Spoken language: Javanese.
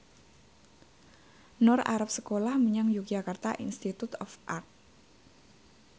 Nur arep sekolah menyang Yogyakarta Institute of Art